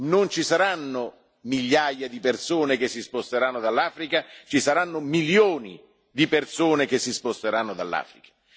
Non ci saranno migliaia di persone che si sposteranno dall'Africa, ci saranno milioni di persone che si sposteranno dall'Africa.